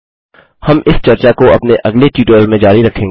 हम इस चर्चा को अपने अगले ट्यूटोरियल में जारी रखेंगे